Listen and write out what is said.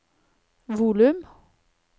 volum